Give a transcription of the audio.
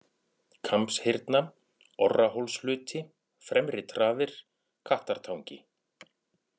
Kambshyrna, Orrahólshluti, Fremri-Traðir, Kattartangi